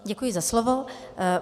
Děkuji za slovo.